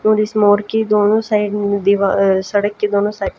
और इस मोर की दोनों साइड ऊं दीवा अ सड़क के दोनों साइड --